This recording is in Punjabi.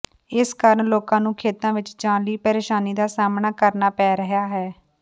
ਇਸ ਕਾਰਨ ਲੋਕਾਂ ਨੂੰ ਖੇਤਾਂ ਵਿਚ ਜਾਣ ਲਈ ਪ੍ਰੇਸ਼ਾਨੀ ਦਾ ਸਾਹਮਣਾ ਕਰਨਾ ਪੈ ਰਿਹਾ ਹੈ